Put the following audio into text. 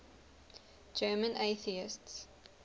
german atheists